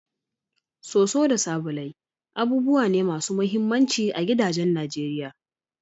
Soso da sabulai abubuwa ne masu muhimmanci a gidajen Najeriya.